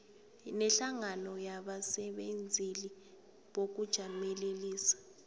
nehlangano yabasebenzeli bokujamelelisa